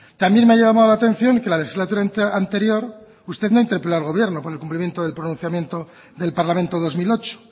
también me ha llamado la atención que en la legislatura anterior usted no interpeló al gobierno con el cumplimiento del pronunciamiento del parlamento dos mil ocho